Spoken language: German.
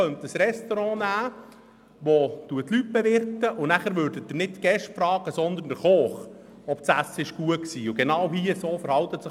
Man könnte ein Restaurant als Beispiel nehmen, welches nicht die Gäste fragt, ob das Essen gut gewesen sei, sondern den Koch.